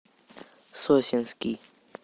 сосенский